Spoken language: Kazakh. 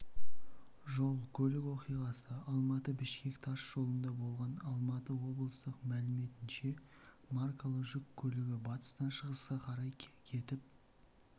жол-көлік оқиғасы алматы-бішкек тас жолында болған алматы облыстық мәліметінше маркалы жүк көлігі батыстан шығысқа қарай кетіп